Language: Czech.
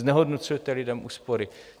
Znehodnocujete lidem úspory.